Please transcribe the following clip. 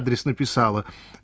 адрес написала